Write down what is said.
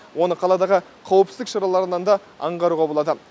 оны қаладағы қауіпсіздік шараларынан да аңғаруға болады